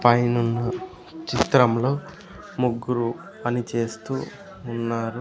పైనున్న చిత్రం లో ముగ్గురు పని చేస్తూ ఉన్నారు.